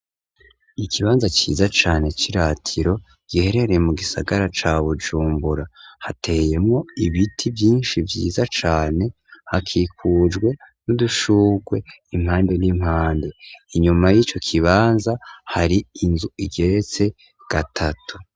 Ikibanza ciza cane c'iratiro kiherereye mu gisagara ca Bujumbura, hateyemwo ibiti mvyinshi vyiza cane hakikujwe n'udushurwe impande n'impande. Inyuma y'ico kibanza hari inzu igeretse gatatu.